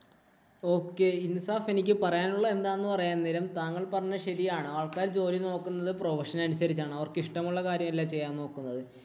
okay Insaf എനിക്ക് പറയാനുള്ളത് എന്താന്ന് പറയാം നേരം താങ്കള്‍ പറഞ്ഞത് ശരിയാണ്. ആള്‍ക്കാര്‍ ജോലി നോക്കുന്നത് profession അനുസരിച്ചാണ്. അവര്‍ക്ക് ഇഷ്ടമുള്ള കാര്യമല്ല ചെയ്യാന്‍ നോക്കുന്നത്.